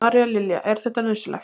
María Lilja: Er þetta nauðsynlegt?